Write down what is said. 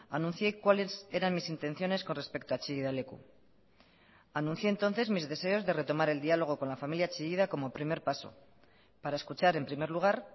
anuncié cuáles eran mis intenciones con respecto a chillida leku anuncié entonces mis deseos de retomar el diálogo con la familia chillida como primer paso para escuchar en primer lugar